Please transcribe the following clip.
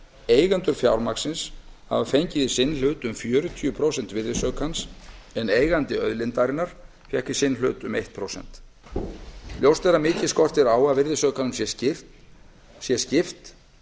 eigendur fjármagnsins hafa fengið í sinn hlut um fjörutíu prósent virðisaukans en eigandi auðlindarinnar fékk í sinn hlut um eitt prósent ljóst er að mikið skortir á að virðisaukanum sé skipt